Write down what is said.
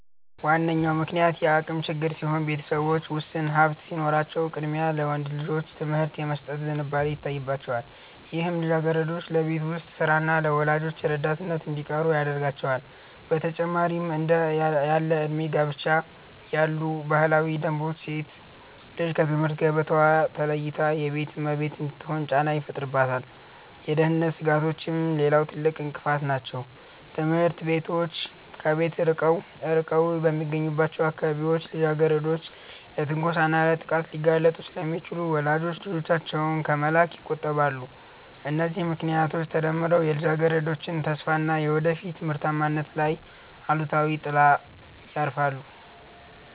ዋነኛው ምክንያት የአቅም ችግር ሲሆን፣ ቤተሰቦች ውስን ሀብት ሲኖራቸው ቅድሚያ ለወንድ ልጆች ትምህርት የመስጠት ዝንባሌ ይታይባቸዋል፤ ይህም ልጃገረዶች ለቤት ውስጥ ሥራና ለወላጆች ረዳትነት እንዲቀሩ ያደርጋቸዋል። በተጨማሪም እንደ ያለዕድሜ ጋብቻ ያሉ ባህላዊ ደንቦች ሴት ልጅ ከትምህርት ገበታዋ ተለይታ የቤት እመቤት እንድትሆን ጫና ይፈጥሩባታል። የደህንነት ስጋቶችም ሌላው ትልቅ እንቅፋት ናቸው፤ ትምህርት ቤቶች ከቤት ርቀው በሚገኙባቸው አካባቢዎች ልጃገረዶች ለትንኮሳና ለጥቃት ሊጋለጡ ስለሚችሉ ወላጆች ልጆቻቸውን ከመላክ ይቆጠባሉ። እነዚህ ምክንያቶች ተደምረው የልጃገረዶችን ተስፋና የወደፊት ምርታማነት ላይ አሉታዊ ጥላ ያርፋሉ